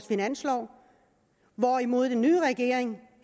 finanslov hvorimod den nye regering